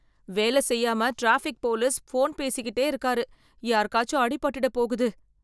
வேல செய்யாம traffic police phone பேசிகிட்டே இருக்காறு , யாருக்காச்சும் ஆடி பாட்டுட போகுது.